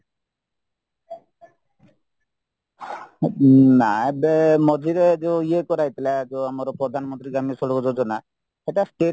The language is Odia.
ନା ଏବେ ମଝିରେ ଯୋଉ ଇଏ କରାଯାଇଥିଲା ଯୋଉ ପ୍ରଧାନମନ୍ତ୍ରୀ ଗ୍ରାମ୍ୟ ସଡକ ଯୋଜନା ସେଇଟା state